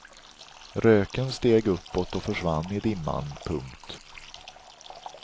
Röken steg uppåt och försvann i dimman. punkt